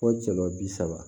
Fo jɔlɔ bi saba